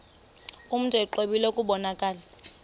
mntu exwebile kubonakala